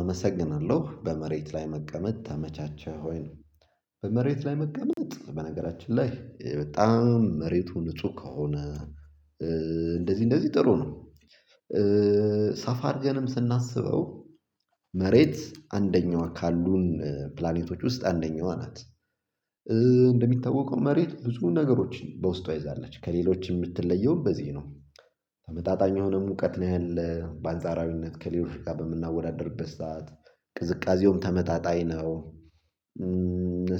አመሰግናለሁ በመሬት ላይ መቀመጥ ተመቻቸህ ወይ ነው? በመሬት ላይ መቀመጥ በነገራችን ላይ በጣም መሬቱ ንጹህ ከሆነ። እንደዚህ እንደዚህ ጥሩ ነው። ሳፋርጀንም ስናስበው መሬት አንደኛው ካሉን ፕላኔቶች ውስጥ አንደኛዋ ናት። እንደሚታወቀው መሬት ብዙ ነገሮችን በውስጧ ይዛለች ከሌሎች ምትለየውን በዚህ ነው ተመጣጣኝ የሆነ ሙቀት ነው ያለው በአንጻራዊነት ከሌሎች ጋር በምናወዳድርበት ሰዓት ቅዝቃዜውም ተመጣጣኝ ነው።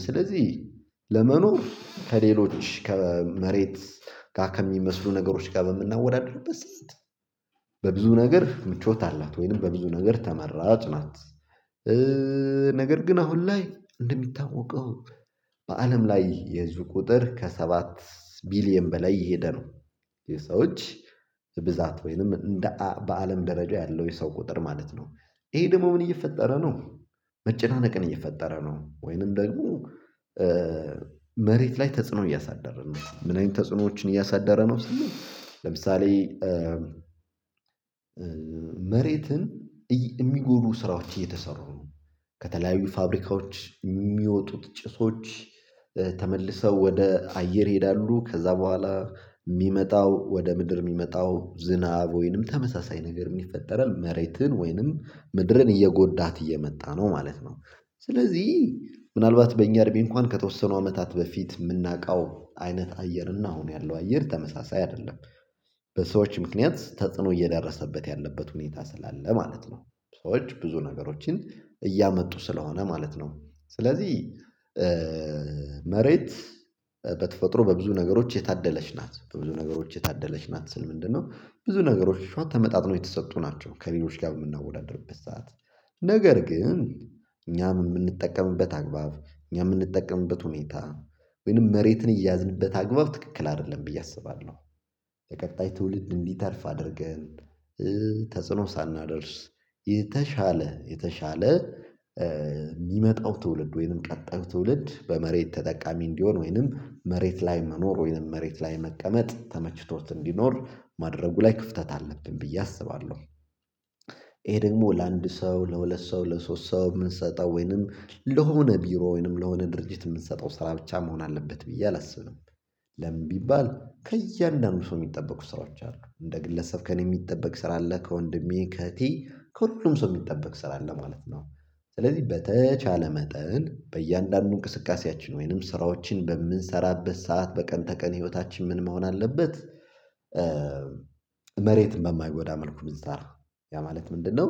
ስለዚህ ለመኖር ከሌሎች ከመሬት ጋር ከሚመስሉ ነገሮች ጋር በምናወዳድርበት ሰዓት በብዙ ነገር ምቾት አላት ወይም በብዙ ነገር ተመራጭ ናት። ነገር ግን አሁን ላይ እንደሚታወቀው በአለም ላይ የህዝብ ቁጥር ከሰባት ቢሊየን በላይ እየሄደ የሰዎች ብዛት ወይንም በአለም ደረጃ ያለው የሰው ቁጥር ማለት ነው። ይሄ ደግሞ ምን እየፈጠረ ነው? መጨናነቅን እየፈጠረ ነው ወይንም ደግሞ መሬት ላይ ተጽዕኖ እያሳደረ ነው ምን አይነት ተጽዕኖዎችን እያሳደረ ነው? ለምሳሌ መሬትን የሚጎዱ ስራዎች እየተሰሩ ነው ከተለያዩ ፋብሪካዎች ሚወጡት ጭሶች ተመልሰው ወደ አየር ይሄዳሉ ከዛ በኋላ ሚመጣው ወደ ምድር ሚመጣው ዝናብ ወይንም ተመሳሳይ ነገር የሚፈጠረን መሬትን ወይንም ምድርን እየጎዳት እየመጣ ነው ማለት ነው። ስለዚህ ምናልባት በእኛ እርምጃ እንኳን ከተወሰኑ አመታት በፊት የምናውቀው አይነት አየር እና አሁን ያለው አየር ተመሳሳይ አይደለም። በሰዎች ምክንያት ተጽዕኖ እየደረሰበት ያለበት ሁኔታ ስላለ ማለት ነው። ሰዎች ብዙ ነገሮችን እያመጡ ስለሆነ ማለት ነው ስለዚህ። መሬት በተፈጥሮ በብዙ ነገሮች የታደለች ናት በብዙ ነገሮች የታደለች ናት ስል ምንድነው ብዙ ነገሮዎች ተመጣጥኖ የተሰጡ ናቸው ከሌሎች ጋር የምናወዳድርበት ሰዓት ነገር ግን እኛም የምንጠቀምበት አግባብ እኛ የምንጠቀምበት ሁኔታ ወይንም መሬትን እያዝንበት አግባብ ትክክል አይደለም ብዬ አስባለሁ። ቀጣይ ትውልድ እንድተርፍ አድርገን ተጽዕኖ ሳናደርስ የተሻለ የተሻለ ሚመጣው ትውልድ ወይንም ቀጣዩ ትውልድ በመሬት ተጠቃሚ እንዲሆን ወይንም መሬት ላይ መኖር ወይንም መሬት ላይ መቀመጥ ተመችቶት እንዲኖር ማድረጉ ላይ ክፍተት አለብን ብዬ አስባለሁ። ይሄ ደግሞ ለአንድ ሰው ለሁለት ሰው ለሶስት ሰው የምንሰጠው ወይንም ለሆነ ቢሮ ወይንም ለሆነ ድርጅት የምንሰጠው ስራ ብቻ መሆን አለበት ብዬ አላስብም። ለምን ቢባል ከእያንዳንዱ ሰው ሚጠበቁ ስራዎች አሉ እንደ ግለሰብ ከእኔ የሚጠበቅ ስራ አለ ከወንድሜ ከእህቴ ከሁሉም ሰው ሚጠበቅ ስራ አለ ማለት ነው። ስለዚህ በተቻለ መጠን በእያንዳንዱ እንቅስቃሴያችን ወይንም ስራዎችን በምንሰራበት ሰዓት በቀን ተቀን ህይወታችን ምን መሆን አለበት? መሬት በማይጎዳ መልኩ ቢዛራ ያ ማለት ምንድነው?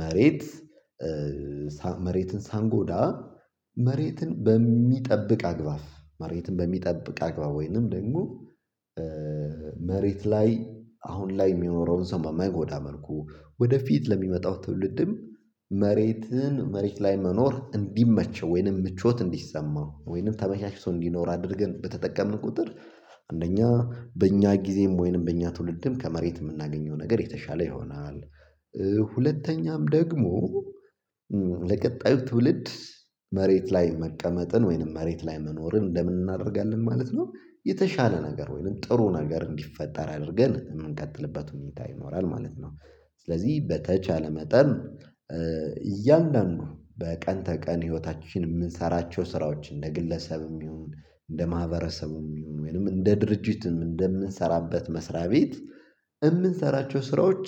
መሬት መሬትን ሳንጎዳ መሬትን በሚጠብቅ አግባብ መሬትን በሚጠብቅ አግባብ ወይንም ደግሞ መሬት ላይ አሁን ላይ የሚኖረውን ሰው በማይጎዳ መልኩ ወደፊት ለሚመጣው ትውልድም መሬትን መሬት ላይ መኖር እንዲመቸው ወይንም ምቾት እንዲሰማ ወይንም ተመቻችቶ እንዲኖር አድርገን በተጠቀምን ቁጥር አንደኛ በእኛ ጊዜም ወይንም በእኛ ትውልድም ከመሬት የምናገኘው ነገር የተሻለ ይሆናል። ሁለተኛም ደግሞ ለቀጣዩ ትውልድ መሬት ላይ መቀመጥን ወይንም መሬት ላይ መኖርን እንደምን እናደርጋለን ማለት ነው የተሻለ ነገር ወይንም ጥሩ ነገር እንዲፈጠር አድርገን የምንቀጥልበት ሁኔታ ይኖራል ማለት ነው። ስለዚህ በተቻለ መጠን እያንዳንዱ በቀን ተቀን ህይወታችን የምንሰራቸው ስራዎች እንደ ግለሰብ ይሁን እንደ ማህበረሰቡ ይሁን ወይንም እንደ ድርጅትም እንደምንሰራበት መስሪያ ቤት የምንሰራቸው ስራዎች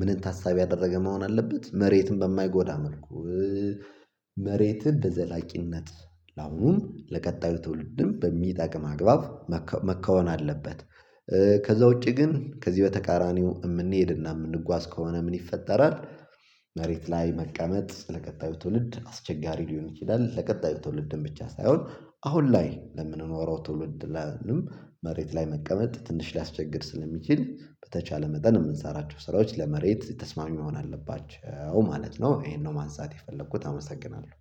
ምንን ታሳቢ ያደረገ መሆን አለበት መሬትም በማይጎዳ መልኩ መሬትን በዘላቂነት ለአሁኑም ለቀጣዩ ትውልድም በሚጠቅም አግባብ መከወን አለበት። ከዛ ውጪ ግን ከዚህ በተቃራኒው የምንሄድና የምንጓዝ ከሆነ ምን ይፈጠራል? መሬት ላይ መቀመጥ ለቀጣዩ ትውልድ አስቸጋሪ ሊሆን ይችላል። ለቀጣዩ ትውልድን ብቻ ሳይሆን አሁን ላይ ለምንኖረው ትውልድ መሬት ላይ መቀመጥ ትንሽ ሊያስቸግር ስለሚችል በተቻለ መጠን የምንሰራቸው ስራዎች ለመሬት የተስማሚ መሆን አለባቸው ማለት ነው። ይሄን ነው ማንሳት የፈለኩት አመሰግናለሁ